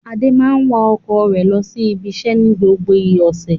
Adé máa ń wa ọkọ̀ rẹ̀ lọ sí ibiṣẹ́ ní gbogbo ọ̀sẹ̀.